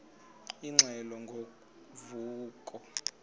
ingxelo ngo vuko